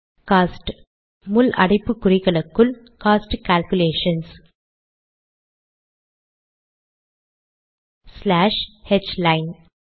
cost முள் அடைப்புக்குறிகளுக்குள் - cost calculations slash ஹ்லைன்